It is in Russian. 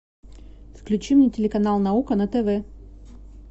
включи мне телеканал наука на тв